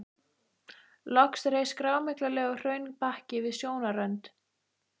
Loks reis grámyglulegur hraunbakki við sjónarrönd.